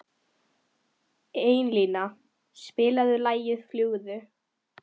Einína, spilaðu lagið „Fljúgðu“.